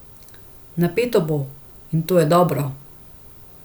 Napeto bo, in to je dobro.